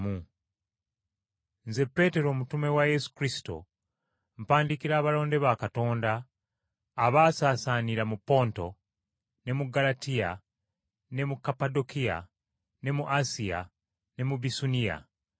Nze Peetero omutume wa Yesu Kristo, mpandiikira abalonde ba Katonda, abaasaasaanira mu Ponto, ne mu Ggalatiya ne mu Kapadokiya, ne mu Asiya ne mu Bisuniya,